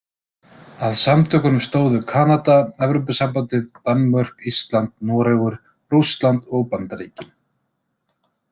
Að samtökunum stóðu Kanada, Evrópusambandið, Danmörk, Ísland, Noregur, Rússland og Bandaríkin.